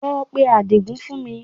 Lọ pe Àdìgún fún mi